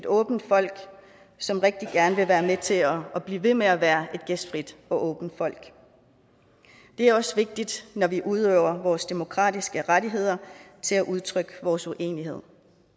åbent folk som rigtig gerne vil være med til at blive ved med at være et gæstfrit og åbent folk det er også vigtigt når vi udøver vores demokratiske rettigheder til at udtrykke vores uenighed